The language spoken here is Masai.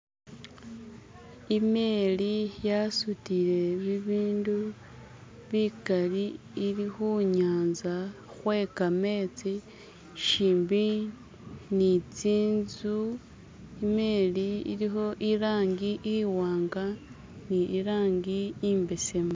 imeli yasutile bibindu bikaali ili hunyanza hwekametsi shimbi ni tsintzu imeli iliho ilangi iwanga ni irangi imbesemu